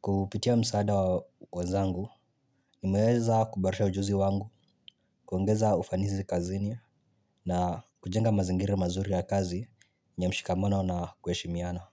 Kupitia msaada wa wenzangu, ninaeza kuboresha ujuzi wangu, kuongeza ufanizi kazini na kujenga mazingira mazuri ya kazi yenye mshikamono na kuheshimiana.